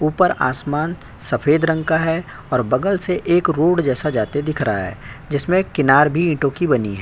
ऊपर आसमान सफ़ेद रंग का है और बगल से एक रोड जैसा जाते दिख रहा है। जिसमें किनार भी ईटों की बनी है।